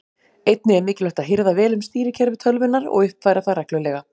Einnig er mikilvægt að hirða vel um stýrikerfi tölvunnar og uppfæra það reglulega.